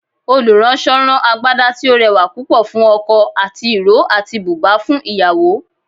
oluranso rán Àgbadá tí o rẹwà púpò fún ọkò ati iro atí bùbá fún ìyàwó.